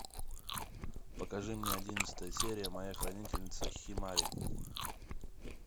покажи мне одиннадцатая серия моя хранительница химари